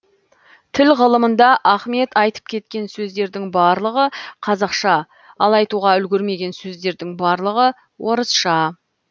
тіл ғылымында ахмет айтып кеткен сөздердің барлығы қазақша ал айтуға үлгермеген сөздердің барлығы орысша